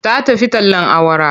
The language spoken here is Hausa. Ta tafi tallen awara.